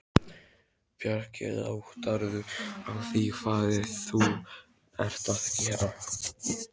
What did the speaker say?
Bjarki, áttarðu á því hvað þú ert að gera?